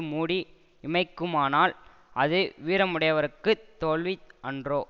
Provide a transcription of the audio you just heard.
மூடி இமைக்குமானால் அது வீரமுடையவருக்குத் தோல்வி அன்றோ